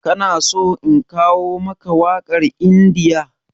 Ka na so in kawo maka wakar India?